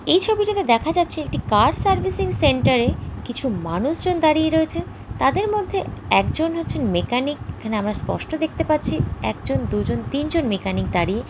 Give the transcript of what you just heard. এই ছবিটাতে দেখা যাচ্ছে একটি কার সার্ভিসিং সেন্টারে কিছু মানুষজন দাঁড়িয়ে রয়েছেন তাদের মধ্যে একজন হচ্ছেন মেকানিক এখানে আমরা স্পষ্ট দেখতে পাচ্ছি একজন দুজন তিনজন মেকানিক দাঁড়িয়ে--